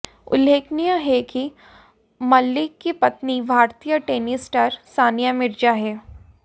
उल्लेखनीय है कि मलिक की पत्नी भारतीय टेनिस स्टार सानिया मिर्जा हैं